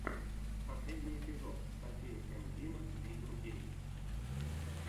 последний эпизод софия энд дима видео геймс